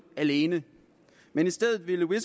alene men i stedet ville